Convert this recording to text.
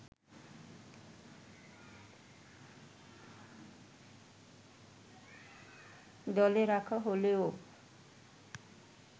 দলে রাখা হলেও